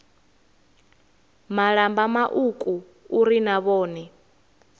malamba mauku uri na vhone